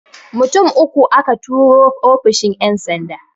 Mutum uku aka turo ofishin ƴan sanda